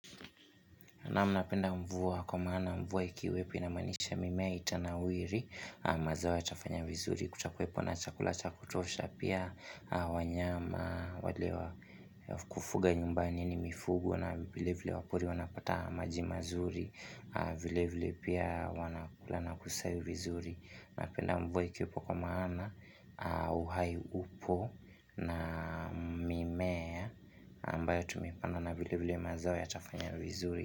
Na mnapenda mvua kumana mvua ikiwepk inamanisha mimea itanawiri mazao yatafanya vizuri Kutakuwepo na chakula chakutosha pia wanyama wale wa kufuga nyumbani ni mifugo na vile vile wapori wanapata maji mazuri vile vile pia wanakulana kusayu vizuri Napenda mvua ikiwepo kwa maana uhai upo na mimea mba ya tumipana na vile vile mazayo yatafanya vizuri.